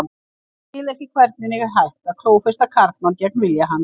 Ég skil ekki hvernig er hægt að klófesta karlmann gegn vilja hans.